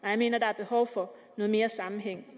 jeg mener at der er behov for noget mere sammenhæng